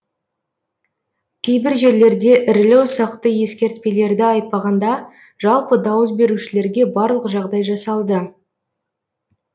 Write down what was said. кейбір жерлерде ірілі ұсақты ескертпелерді айтпағанда жалпы дауыс берушілерге барлық жағдай жасалды